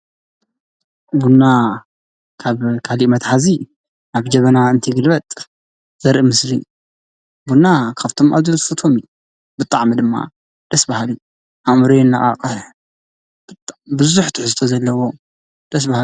ቡና ካብ ካሊእ መትሓዚ ናብ ጀበና እንትግልብጥ ዘርኢ ምስሊ እዩ፤ ቡና ካብቶም ኣዝየ ዝፈትዎም እዩ ብጣዕሚ ድማ ደስ በሃሊ እዩ። ኣእምሮ የነቃቕሕ፣ ቡዙሕ ትሕዝቶ ዘለዎ ደስ በሃሊ።